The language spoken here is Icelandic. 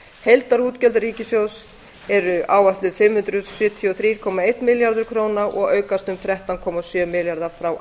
heildarútgjöld ríkissjóðs eru áætluð fimm hundruð sjötíu og þrjú komma einn milljarður króna og aukast um þrettán komma sjö milljarða frá